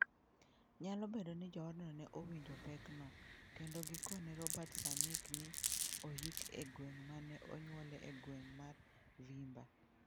Nyalo bedo ni joodno ne owinjo pekno, kendo gikone Robert Sernik ne oyik e gweng' ma ne onyuole e gweng' mar Zvimba.